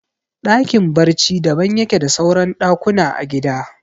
Ɗakin barci daban yake da suran ɗakuna a gida